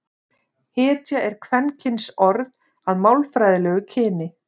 hetja er kvenkynsorð að málfræðilegu kyni